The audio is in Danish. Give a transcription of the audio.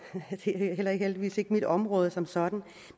er heldigvis heller ikke mit område som sådan